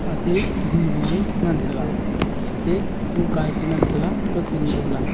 ate guluye ngantaga ate lukaye chi ngantaga kaukhin galo la.